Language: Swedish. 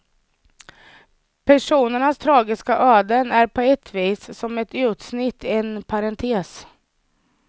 Personernas tragiska öden är på ett vis som ett utsnitt, en parentes.